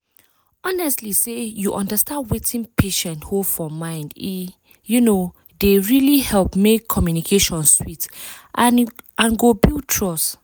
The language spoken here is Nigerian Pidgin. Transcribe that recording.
honestly say you understand wetin patient hold for mind e um dey really help make communication sweet and e go build trust.